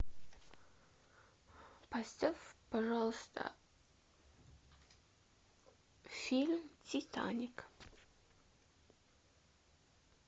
поставь пожалуйста фильм титаник